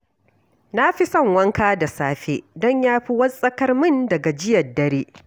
Na fi son wanka da safe don ya fi wartsakar min da gajiyar dare